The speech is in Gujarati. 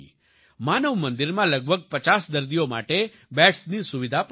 માનવ મંદિરમાં લગભગ 50 દર્દીઓ માટે બેડ્સની સુવિધા પણ છે